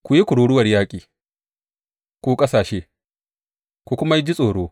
Ku yi kururuwar yaƙi, ku ƙasashe, ku kuma ji tsoro!